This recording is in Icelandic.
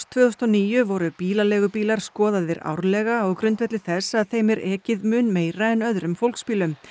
tvö þúsund og níu voru bílaleigubílar skoðaðir árlega á grundvelli þess að þeim er ekið mun meira en öðrum fólksbílum